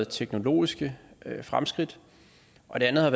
teknologiske fremskridt og det andet er